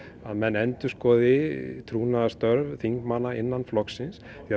að menn endurskoði trúnaðarstörf þingmanna innan flokksins því